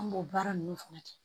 An b'o baara ninnu fana kɛ